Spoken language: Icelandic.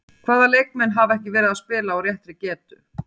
Hvaða leikmenn hafa ekki verið að spila á réttri getu?